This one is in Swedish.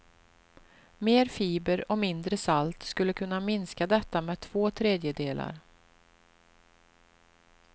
Mer fiber och mindre salt skulle kunna minska detta med två tredjedelar.